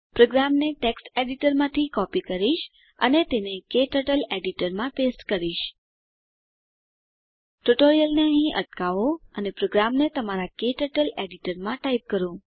પ્રોગ્રામને ટેક્સ્ટ એડીટરમાંથી કોપી કરીશ અને તેને ક્ટર્ટલ એડીટરમાં પેસ્ટ કરીશ ટ્યુટોરીયલને અહીં અટકાવો અને પ્રોગ્રામને તમારા ક્ટર્ટલ એડીટરમાં ટાઈપ કરો